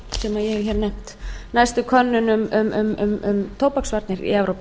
sem ég hef hér nefnt næstu könnun um tóbaksvarnir í evrópu